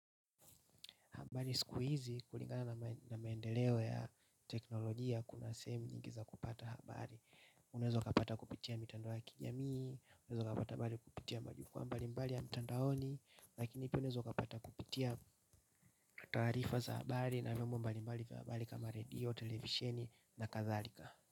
Habari siku hizi kulingana na maendeleo ya teknolojia kuna sehemu nyingi za kupata habari. Unaeza kapata kupitia mitandao ya kijamii, unaeza ukapata habari kupitia majukwaa mbali mbali ya mitandaoni lakini pia unaeza kapata kupitia taarifa za habari na vyombo mbali mbali vya habari kama redio, televisheni na kadhalika.